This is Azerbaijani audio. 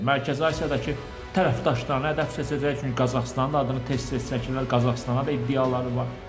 Mərkəzi Asiyadakı tərəfdaşlarına əl atacaq, çünki Qazaxıstanın da adını tez-tez çəkirlər, Qazaxıstana da iddiaları var.